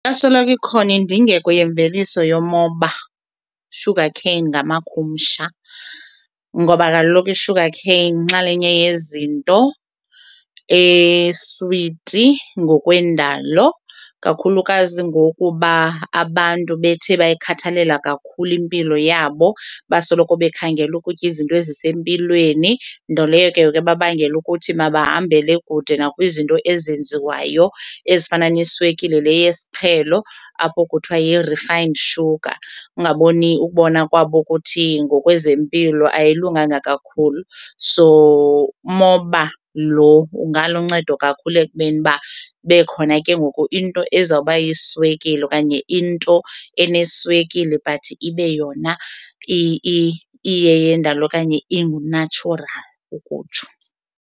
Yasoloko ikhona indingeko yemveliso yomoba, sugarcane ngamakhumsha ngoba kaloku i-sugarcane yinxalenye yezinto eswiti ngokwendalo kakhulukazi ngokuba abantu bethe bayikhathalela kakhulu impilo yabo basoloko bekhangela ukutya izinto ezisempilweni nto leyo ke ngoku ebabangela ukuthi mabahambele kude nakwizinto ezenziwayo ezifana neeswekile le yesiqhelo apho kuthiwa yi-refined sugar ungaboni ukubona kwabo ukuthi ngokwezempilo ayilunganga kakhulu. So umoba lo ungaluncedo kakhulu ekubeni uba kube khona ke ngoku into ezawuba yiswekile okanye into eneswekile but ibe yona iyeyendalo okanye ingu-natural ukutsho.